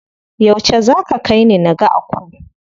Yauce za ka kaini naga Aku?